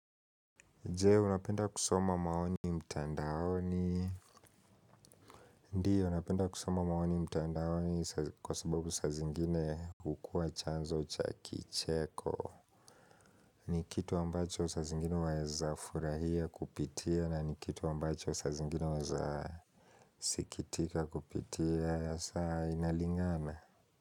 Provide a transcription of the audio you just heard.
Je unapenda kusoma maoni mtandaoni. Ndio, napenda kusoma maoni mtandaoni kwa sababu sa zingine kukua chanzo cha kicheko. Ni kitu ambacho sa zingine weza furahia kupitia na ni kitu ambacho sa zingine weza sikitika kupitia asa inalingana.